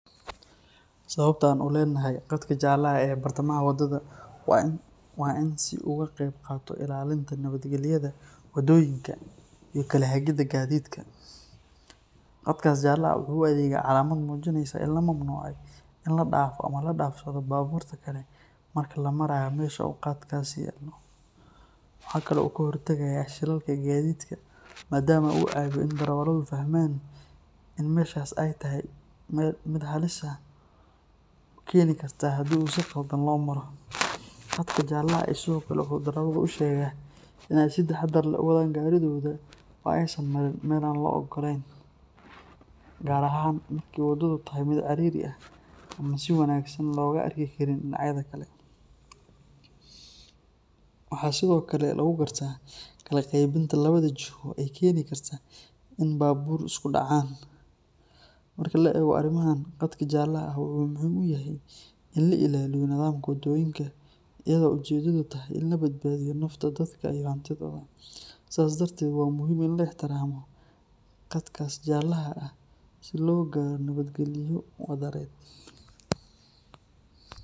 Sababta aan u leenahay qadka jalaha ee bartamaha wadada waa si uu uga qayb qaato ilaalinta nabadgelyada waddooyinka iyo kala hagidda gaadiidka. Qadkaas jaalaha ah wuxuu u adeegaa calaamad muujinaysa in la mamnuucay in la dhaafo ama la dhaafsado baabuurta kale marka la marayo meesha uu qadkaasi yaallo. Waxa kale oo uu ka hortagayaa shilalka gaadiidka maadaama uu caawiyo in darawalladu fahmaan in meeshaas ay tahay mid halis keeni karta haddii si khaldan loo maro. Qadka jaalaha ahi sidoo kale wuxuu darawallada u sheegaa in ay si taxaddar leh u wadaan gaarigooda oo aysan marin meel aan loo oggolayn, gaar ahaan marka waddadu tahay mid cidhiidhi ah ama aan si wanaagsan looga arki karin dhinacyada kale. Waxaa sidoo kale lagu gartaa kala qaybinta labada jiho ee gaadiidka socda, taas oo meesha ka saaraysa is dhex yaaca iyo khatarta keeni karta in baabuur isku dhacaan. Marka la eego arrimahan, qadka jaalaha ah wuxuu muhiim u yahay in la ilaaliyo nidaamka waddooyinka, iyadoo ujeeddadu tahay in la badbaadiyo nafta dadka iyo hantidooda. Sidaas darteed, waa muhiim in la ixtiraamo qadkaas jaalaha ah si loo gaaro nabadgelyo wadareed.